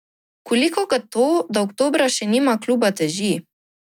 Koliko ga to, da oktobra še nima kluba, teži?